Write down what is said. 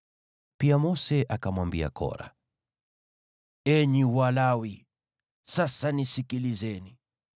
Pia Mose akamwambia Kora, “Enyi Walawi! Sasa nisikilizeni.